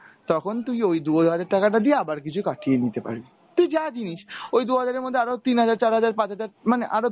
তখন তুই ওই দু’হাজার টাকাটা দিয়ে আবার কিছু কাটিয়ে নিতে পারবি। তুই যা কিনিস ওই দু’হাজারের মধ্যে আরও তিন হাজার, চার হাজার, পাঁচ হাজার মানে আরো